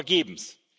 Vergebens.